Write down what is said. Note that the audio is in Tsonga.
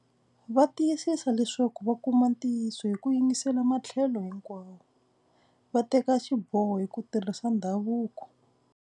Va tiyisisa leswaku va kuma ntiyiso hi ku yingisela matlhelo hinkwawo. Va teka xiboho hi ku tirhisa ndhavuko.